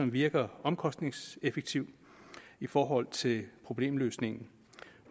virker omkostningseffektivt i forhold til problemløsningen